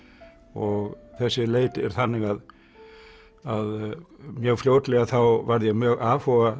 og þessi leit er þannig að mjög fljótlega þá varð ég mjög afhuga